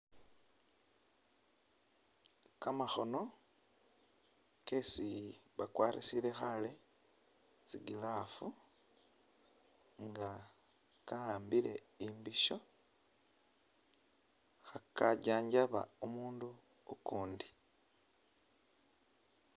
Kamakhono kesi bakwarisile khale tsi glove nga kawambile imbisho khaka janjaba omundu ukundi.